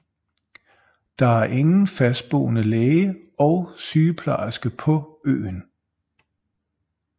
Der er ingen fastboende læge og sygeplejerske på øen